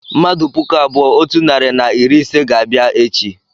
mmadụ puku abụọ otu narị na iri ise ga-abịa echi